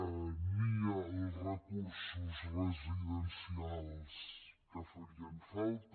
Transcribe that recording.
ni els recursos residencials que farien falta